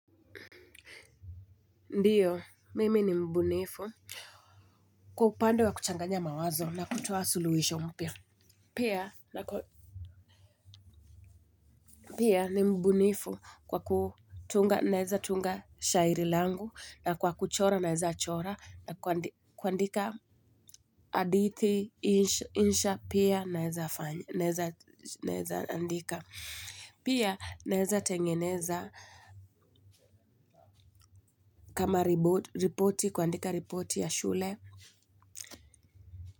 Ndio mimi ni mbunifu. Kwa upande wa kuchanganya mawazo na kutoa suluhisho mpya pia. Pia ni mbunifu kwa kutunga naeza tunga shairi langu na kwa kuchora naeza chora na kuandika hadithi insha pia naeza andika. Pia naeza tengeneza kama ripoti kuandika ripoti ya shule.